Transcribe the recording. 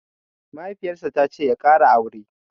Mahaifiyar sa tace ya ƙara aure